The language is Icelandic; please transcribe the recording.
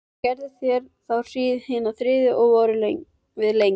Gerðu þeir þá hríð hina þriðju og voru við lengi.